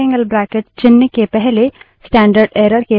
standard error redirect करना उसी तरह होता है